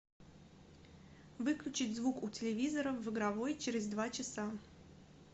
выключить звук у телевизора в игровой через два часа